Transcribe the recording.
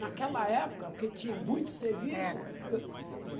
Naquela época, porque tinha muito serviço. Eh...